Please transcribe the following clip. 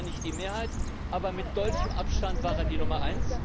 Das ist zwar nicht die Mehrheit, aber mit deutlichem Abstand war er die Nummer